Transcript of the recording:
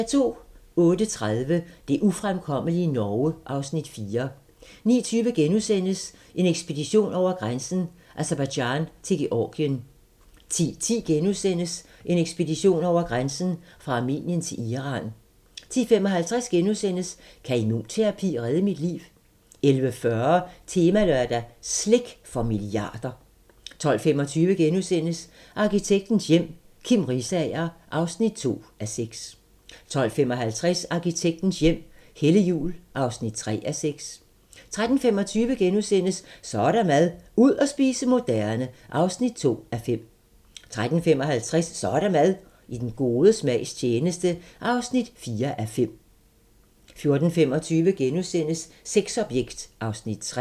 08:30: Det ufremkommelige Norge (Afs. 4) 09:20: En ekspedition over grænsen: Aserbajdsjan til Georgien * 10:10: En ekspedition over grænsen: Fra Armenien til Iran * 10:55: Kan immunterapi redde mit liv? * 11:40: Temalørdag: Slik for milliarder 12:25: Arkitektens hjem - Kim Risager (2:6)* 12:55: Arkitektens hjem - Helle Juul (3:6) 13:25: Så er der mad - ud at spise moderne (3:5)* 13:55: Så er der mad - i den gode smags tjeneste (4:5) 14:25: Sexobjekt (Afs. 3)*